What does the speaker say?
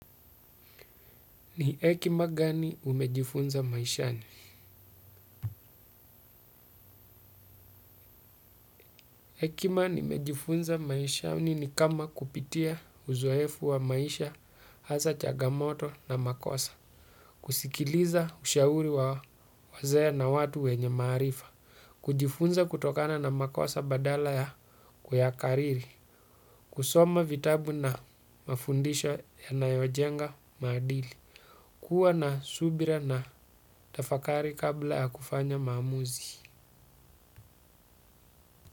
Ni hekima gani umejifunza maishani? Hekima nimejifunza maishani ni kama kupitia uzoefu wa maisha hasa changamoto na makosa. Kusikiliza ushauri wa wazee na watu wenye maarifa. Kujifunza kutokana na makosa badala ya kuyakariri. Kusoma vitabu na mafundisho yanayojenga maadili. Kuwa na subira na tafakari kabla ya kufanya maamuzi.